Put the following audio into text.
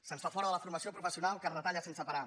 se’ns fa fora de la formació professional que es retalla sense parar